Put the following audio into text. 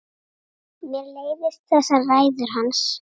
Mér leiðast þessar ræður hans.